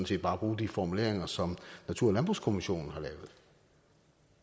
set bare bruge de formuleringer som natur og landbrugskommissionen har lavet